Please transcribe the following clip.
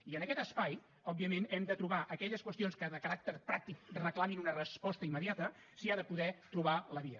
i en aquest espai òbviament a aquelles qüestions de caràcter pràctic que reclamin una resposta immediata s’hi ha de poder trobar la via